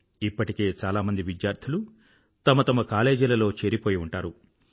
ఇప్పటికే చాలామంది విద్యార్థులు తమ తమ కాలేజీలలో చేరిపోయి ఉంటారు